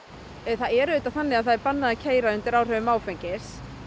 það er auðvitað þannig að það er bannað að keyra undir áhrifum áfengis